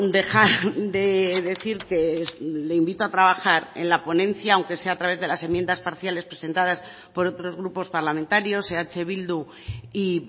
dejar de decir que le invito a trabajar en la ponencia aunque sea a través de las enmiendas parciales presentadas por otros grupos parlamentarios eh bildu y